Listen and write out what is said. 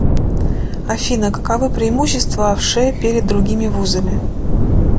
афина каковы преимущества вшэ перед другими вузами